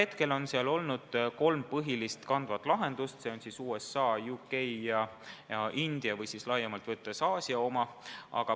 Seni on seal kavandatud kolm põhilist kandvat lahendust: USA, Ühendkuningriigi ja India või siis laiemalt võttes Aasia oma.